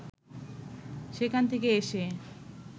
সেখান থেকে এসে